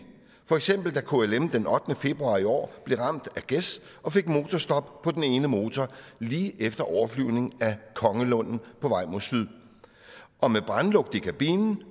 for eksempel blev klm den ottende februar i år ramt af gæs og fik motorstop på den ene motor lige efter overflyvning af kongelunden på vej mod syd og med brandlugt i kabinen